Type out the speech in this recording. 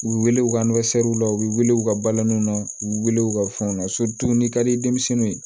U weele u ka la u bɛ weele u ka balaninw na u wele u ka fɛnw na n'i ka di denmisɛnninw ye